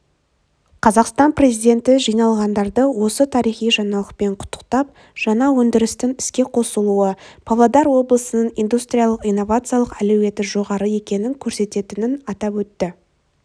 қазақстан президенті жиналғандарды осы тарихи жаңалықпен құттықтап жаңа өндірістің іске қосылуы павлодар облысының индустриялық-инновациялық әлеуеті жоғары екенін көрсететінін атап өтті